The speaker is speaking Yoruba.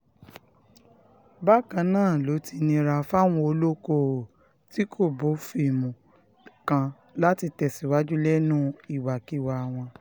bákan náà ló ti nira fáwọn olókoòwò tí kò bófin mu kan láti tẹ̀síwájú lẹ́nu ìwàkiwà wọn